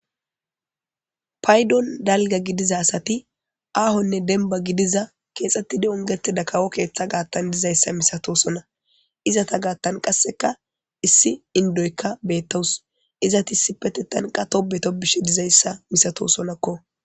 Paydon dalga gidiza asati aahonne denba gidiza keexxettidi ongete dakawo keeththa gaattan dizayssa misatosona izata gaattan qasseka issi indoykka beettawus izatiissi pete tanqa tobeto bishe dizayssa misato sonakko.